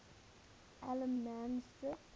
allemansdrift